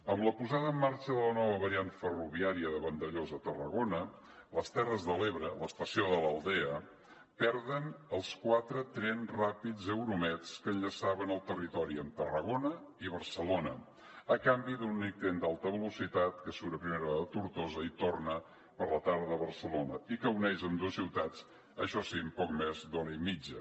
amb la posada en marxa de la nova variant ferroviària de vandellòs a tarragona les terres de l’ebre l’estació de l’aldea perden els quatre trens ràpids euromeds que enllaçaven el territori amb tarragona i barcelona a canvi d’un únic tren d’alta velocitat que surt a primera hora de tortosa i torna per la tarda a barcelona i que uneix ambdues ciutats això sí en poc més d’hora i mitja